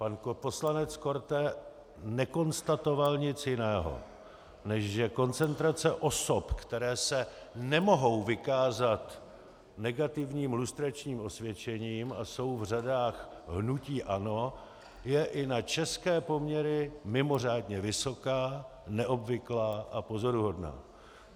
Pan poslanec Korte nekonstatoval nic jiného, než že koncentrace osob, které se nemohou vykázat negativním lustračním osvědčením a jsou v řadách hnutí ANO, je i na české poměry mimořádně vysoká, neobvyklá a pozoruhodná.